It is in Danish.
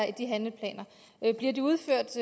i de handleplaner bliver de udført